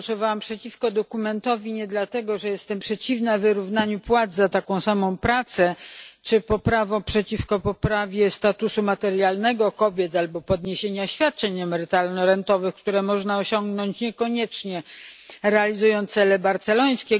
Głosowałem przeciwko dokumentowi nie dlatego, że jestem przeciwna wyrównaniu płac za taką samą pracę czy przeciwko poprawie statusu materialnego kobiet albo podniesieniu świadczeń emerytalno rentowych, które można osiągnąć, niekoniecznie realizując cele barcelońskie.